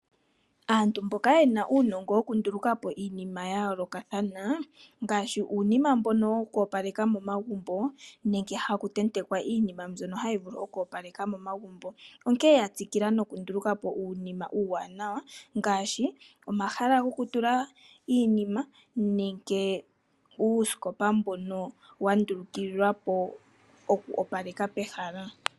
Aantu mboka yena unongo yoku ndulukamo iinima ya yoloka thana ngashi uunima mbono wokopaleka momagumbo nenge haku tetekwa iinima mbyono hayi vulu oko paleka momagumbo , onkene yatsikila noku ndulukamo uunima uwanawa ngashi omahala goku tula iinima nenge uusikopa mbono wa ndulikililwa po oku opaleka pehala.